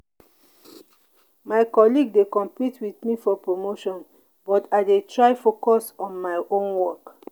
my colleague dey compete with me for promotion but i dey try focus on my own work.